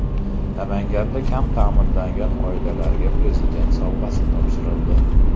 Namanganda kam ta’minlangan oilalarga Prezident sovg‘asi topshirildi .